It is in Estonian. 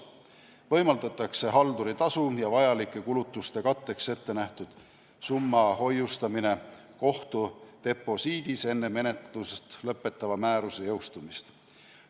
Võimaldatakse halduri tasu ja vajalike kulutuste katteks ettenähtud summa hoiustamine kohtu deposiidis enne menetlusest lõpetava määruse jõustumist.